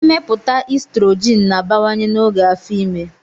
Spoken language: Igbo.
Mmepụta estrogin na-abawanye n'oge afọ ime.